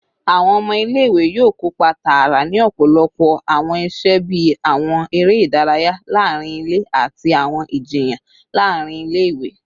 Awọn ọmọ ile-iwe yoo kopa taara ni ọpọlọpọ awọn iṣe bii awọn ere idaraya laarin ile ati awọn ijiyan laarin ile-iwe